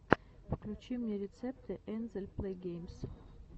включи мне рецепты энзель плейгеймс